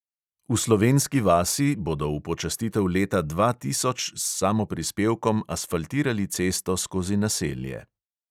V slovenski vasi bodo v počastitev leta dva tisoč s samoprispevkom asfaltirali cesto skozi naselje.